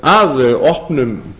að opnum